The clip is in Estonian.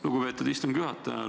Lugupeetud istungi juhataja!